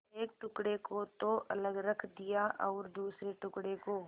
एक टुकड़े को तो अलग रख दिया और दूसरे टुकड़े को